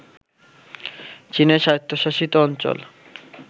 চীনের স্বায়ত্ত্বশাসিত অঞ্চল